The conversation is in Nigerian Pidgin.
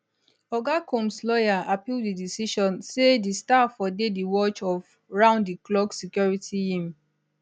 oga comps lawyer appeal di decision say di star fo dey di watch of round di clock security yeam